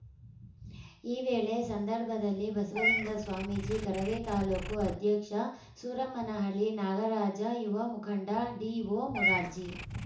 ಈ ವೇಳೆ ಸಂದರ್ಭದಲ್ಲಿ ಬಸವಲಿಂಗ ಸ್ವಾಮೀಜಿ ಕರವೇ ತಾಲೂಕು ಅಧ್ಯಕ್ಷ ಸೂರಮ್ಮನಹಳ್ಳಿ ನಾಗರಾಜ ಯುವ ಮುಖಂಡ ಡಿಒಮುರಾರ್ಜಿ